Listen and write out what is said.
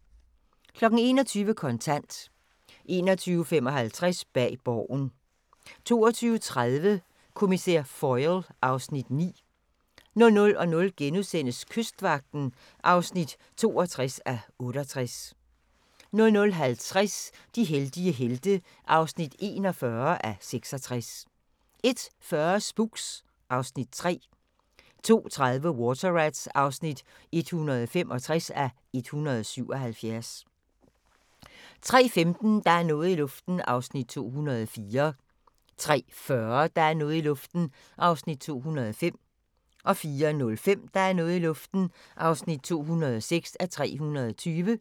21:00: Kontant 21:55: Bag Borgen 22:30: Kriminalkommissær Foyle (Afs. 9) 00:05: Kystvagten (62:68)* 00:50: De heldige helte (41:66) 01:40: Spooks (Afs. 4) 02:30: Water Rats (165:177) 03:15: Der er noget i luften (204:320) 03:40: Der er noget i luften (205:320) 04:05: Der er noget i luften (206:320)